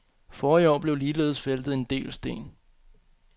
Forrige år blev ligeledes væltet en del sten.